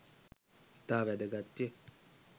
ඉතා වැදගත් ය.